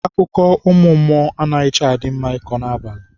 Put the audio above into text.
Akụkọ ụmụ mmụọ anaghịcha mma ịkọ n'abalị.